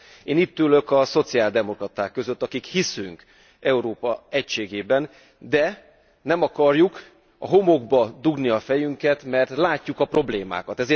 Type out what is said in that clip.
Én itt ülök a szociáldemokraták között, akik hiszünk Európa egységében, de nem akarjuk a homokba dugni a fejünket, mert látjuk a problémákat.